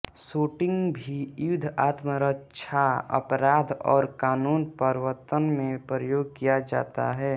shooting भी युद्ध आत्मरक्षा अपराध और कानून प्रवर्तन में प्रयोग किया जाता है